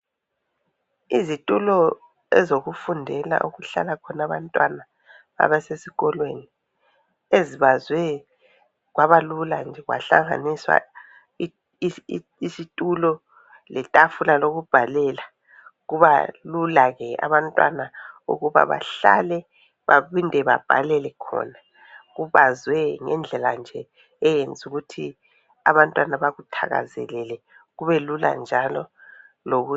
Izitulo ezokufundela, okuhlala khona abantwana abasesikolweni. Ezibazwe kwaba lula nje, kwahlanganiswa isitulo letafula lokubhalela. Kuba lula ke abantwana ukuba bahlale baphinde babhalele khona. Kubazwe ngendlela nje eyenze ukuthi abantwana bakuthakazelele, kube lula njalo.